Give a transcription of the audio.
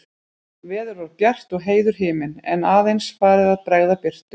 Veður var bjart og heiður himinn, en að eins farið að bregða birtu.